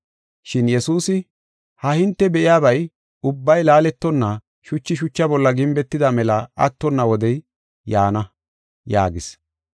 Shin Yesuusi, “Ha hinte be7iyabay ubbay laaletonna, shuchi shucha bolla gimbetida mela attonna wodey yaana” yaagis.